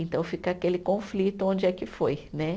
Então fica aquele conflito onde é que foi, né?